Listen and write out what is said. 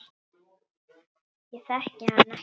Ég þekki hann ekkert.